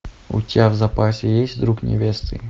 у тебя в запасе есть друг невесты